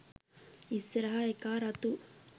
ඉස්සරහ එකා රතු